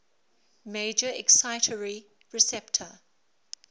major excitatory receptor